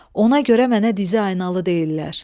Ona görə mənə dizaynalı deyirlər.